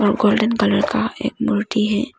और golden colour का एक मूर्ति है।